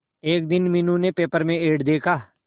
एक दिन मीनू ने पेपर में एड देखा